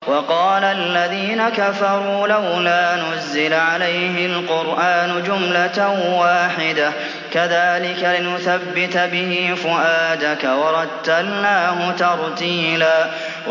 وَقَالَ الَّذِينَ كَفَرُوا لَوْلَا نُزِّلَ عَلَيْهِ الْقُرْآنُ جُمْلَةً وَاحِدَةً ۚ كَذَٰلِكَ لِنُثَبِّتَ بِهِ فُؤَادَكَ ۖ وَرَتَّلْنَاهُ تَرْتِيلًا